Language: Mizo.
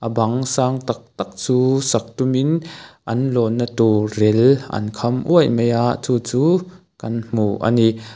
bang sang tak tak chu sak tumin an lawn na tur rel an kham uaih mai a chu chu kan hmu a ni.